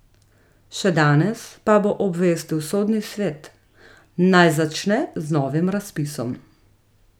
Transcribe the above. Še danes pa bo obvestil sodni svet, naj začne z novim razpisom.